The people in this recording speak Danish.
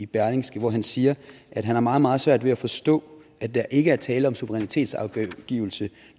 berlingske hvor han siger at han har meget meget svært ved at forstå at der ikke er tale om suverænitetsafgivelse